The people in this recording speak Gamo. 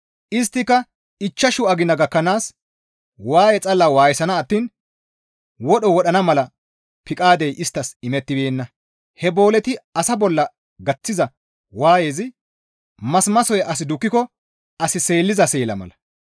Isttaka ichchashu agina gakkanaas waaye xalla waayisana attiin wodho wodhana mala piqaadey isttas imettibeenna; he booleti asa bolla gaththiza waayezi masimasoy as dukkiko as seelliza seela mala.